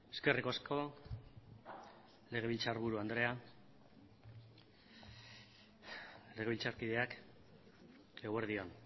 eskerrik asko legebiltzarburu andrea legebiltzarkideak eguerdi on